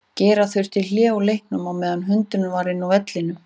Gera þurfti hlé á leiknum á meðan hundurinn var inn á vellinum.